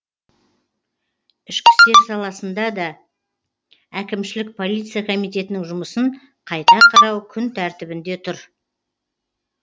ішкі істер саласында да әкімшілік полиция комитетінің жұмысын қайта қарау күн тәртібінде тұр